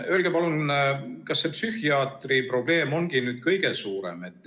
Öelge palun, kas see psühhiaatrite probleem on ikka kõige suurem?